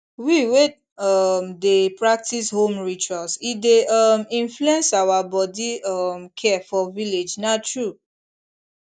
we wey um dey practice home rituals e dey um influence our body um care for village na true